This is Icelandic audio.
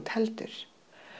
heldur